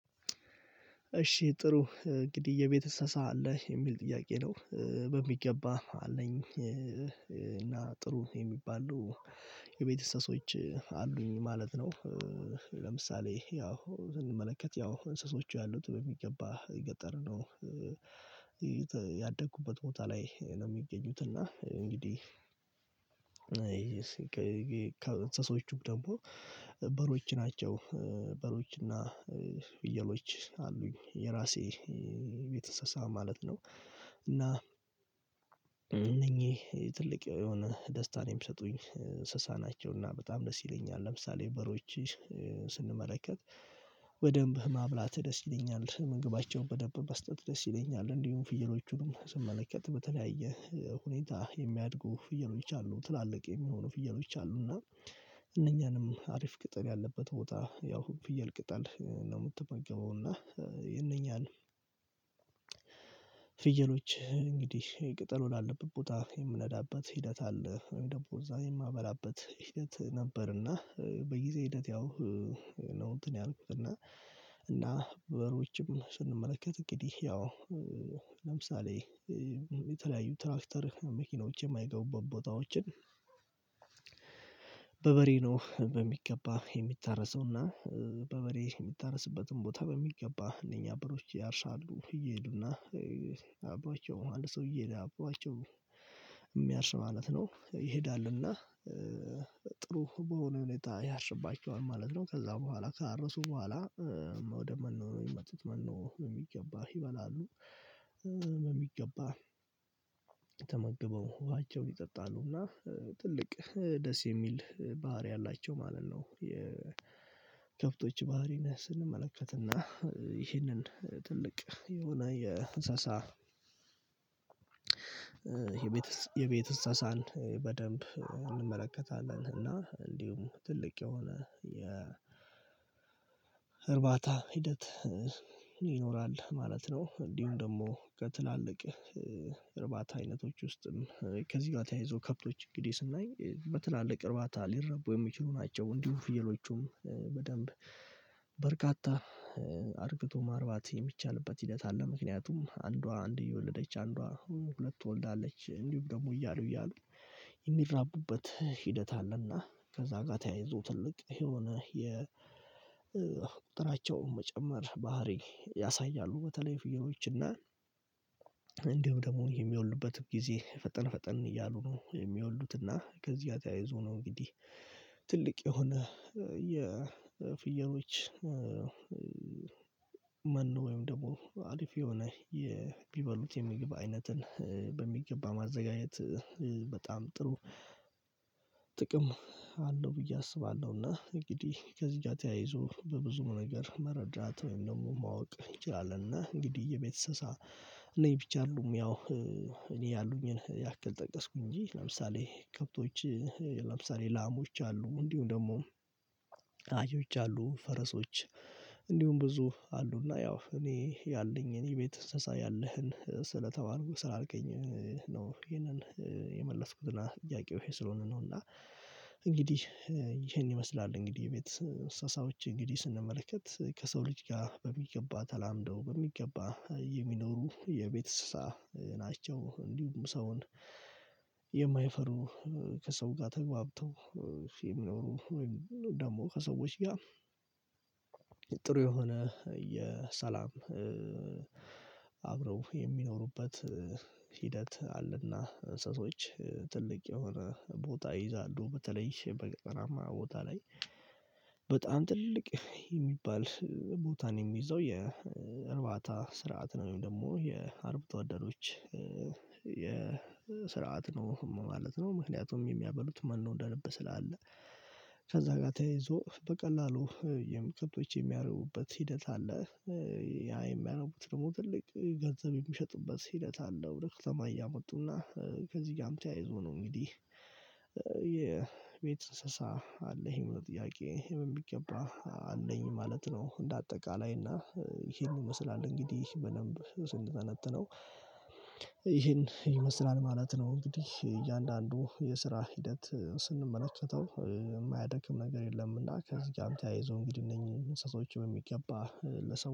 እሺ ጥሩ እንግዲህ የቤት እንስሳ አለህ? የሚል ጥያቄ ነው በሚገባ አለኝ እና ጥሩ የሚባሉ የቤት እንሰሶች አሉኝ ማለት ነው ያው ለምሳሌ ያው ብንመለከት ያው እንስሶቹ ያሉት በሚገባ የገጠርነው ቦታ ላይ ነው የሚገኙት እና እንግዲህ ከ እንስሶችም ደግሞ በሮች ናቸው በሮች እና ፍየሎች አሉኝ የራሴ የቤት እንስባ ማለት ነው እና እነኚህ ትልቅ የሆነ ደስታ ነው የሚሰጡኝ እንስሳ ናቸው እና በጣም ደስ ይለኛል ለምሳሌ በሮች ስንመለከት በደንብ ማብላት ደስ ይለኛል ምግባቸውን በደንብ መስጠት ደስ ይለኛል እንዲሁም ፍየሎቹንም ስመለከት በተለያየ ሁኔታ የሚያድጉ ፍየሎች አሉ ትላልቅ የሚሆኑ ፍየሎች አሉ እነኛንም አሪፍ ቅጠል ያለበት ቦታ ያው ፍየል ቅጠል ነውና የምትመገበውና ይሄኛው ፍየሎች እንግዲህ የቅጠሉን አለበት ቦታ የምነዳበት ሂደት አለ ወይም ደግሞ እዛ የማበላበት ሂደት ነበርና በጊዜ ሂደት ያው እንትን ያልኩት እና እና በሮችም ስንመለከት እንግዲህ ያው ለምሳሌ የተለያዩ ትራክተር መኪኖች የማይገቡ ቦታዎችን ነው በሚገባ የሚታረሰውና በበሬ የሚታረስበትን ቦታ በሚገባ እነኛ በሮች ያርሳሉ እየሄዱና አብሯቸው አንድ ሰው እየሄደ አብሯቸው የሚያርስ ማለት ነው ይሄዳልና ጥሩ በሆነ ሁኔታ ያርስባቸዋል ማለት ነው ከዛ በኋላ ከአረሱ በኋላ ወደ መኖ የሚመጡት መኖ በሚገባ ይበላሉ በሚገባ ተመግበው ውሃቸውን ይጠጣሉ እና ትልቅ ደስ የሚል ባህሪ አላቸው ማለት ነው የከብቶች ባህሪን ስንመለከትና ይህንን ትልቅ የሆነ የእንስሳ የቤት እንሳሳን በደንብ እንመለከታለን እና እንዲሁም ትልቅ የሆነ የ እርባታ ሂደት ይኖራል ማለት ነው እንዲሁም ደግሞ ከትላልቅ እርባታ አይነቶች ውስጥም ከዚህ ጋር ተያይዞ ከብቶች እንግዲህ ስናይ በትላልቅ እርባታ ሊረቡ የሚችሉ ናቸው እንዲሁ ፍየሎቹም በደንብ በርካታ አርግቶ ማርባት የሚቻልበት ሂደት አለ ምክንያቱም አንዷ አንድ እየወለደች አንዷ ሁለት ትወልዳለች እንዲሁም ደግሞ እያሉ እያሉ የሚራቡበት ሂደት አለና ከዛ ጋር ተያይዞ ትልቅ የሆነ የ ቁጥራቸውን መጨመር ባህሪ ያሳያሉ በተለይ ፍየሎች እና እንደውም ደግሞ የሚወልዱበትም ጊዜ ፈጠን ፈጠን እያሉ ነው የሚወልዱት እና ከዚህ ተያይዞ ነው እንግዲህ ትልቅ የሆነ የፍየሎች መኖ ወይም ደግሞ አሪፍ የሆነ ቢበሉት የሚገባ አይነትን በሚገባ ማዘጋጀት በጣም ጥሩ ጥቅም አለው ብዬ አስባለሁ እና እንግዲህ ከዚህ ጋር ተያይዞ በብዙ ነገር መረዳት ወይም ደግሞ ማወቅ እንችላለን እና እንግዲህ የቤት እንስሳ እነኚህ ብቻ አይደሉም ያው እኔ ያሉኝን ያክል ጠቀስኩ እንጂ ለምሳሌ ከብቶች ለምሳሌ ላሞች አሉ እንዲሁ ደግሞ አህዮች አሉ ፈረሶች እንዲሁ ብዙ አሉ እና ያው እኔ ያለኝ እኔ ቤት እንስሳ ያለህን ስለተባልኩ ስላልከኝ ነው ይሄንን የመለስኩትና ጥያቄው ይሄ ስለሆነ ነውና እንግዲህ ይሄን ይመስላል እንግዲህ ቤት እሳሳዎች እንግዲህ ስንመለከት ከሰው ልጅ ጋር በሚገባ ተላምደው በሚገባ የሚኖሩ የቤት እንስሳ ናቸው እንዲሁም ሰውን የማይፈሩ ከሰው ጋር ተግባብተው የሚኖሩ ወይም ደግሞ ከሰዎች ጋር ጥሩ የሆነ የሰላም ሰላም አብረው የሚኖሩበት ሂደት አለና እንስሶች የሆነ ቦታ ይይዛሉ በተለይ በገጠራማ ቦታ ላይ በጣም ትልቅ የሚባል ቦታ ነው የሚይዘው የእርባታ ስርዓት ነው ወይም ደግሞ የአርብቶ አደሮች ስርዓት ነው ማለት ነው ምክንያቱም የሚያበሉት መኖ እንደልብ ስላለ ከዛ ጋር ተይዞ በቀላሉ የምቅርቶች የሚያረቡበት ሂደት አለ ያ የሚያነቡት ደግሞ ትልቅ ገንዘብ የሚሸጥበት ሂደት አለው ለከተማ እያመጡና ከዚህ ጋርም ተያይዞ ነው እንግዲህ የቤት እንስሳ አለ ይሄ ምን ጥያቄ የሚገባ አለኝ ማለት ነው እንደ አጠቃላይ እና ይሄን ይመስላል እንግዲህ በደንብ ስንተነትነው ይመስላል ማለት ነው እንግዲህ እያንዳንዱ የስራ ሂደት ስንመለከተው የማያደክም ነገር የለምና ከዚህ ጋር ተያይዞ እንግዲህ እነኝህ እንስሳቶች በሚገባ ለሰው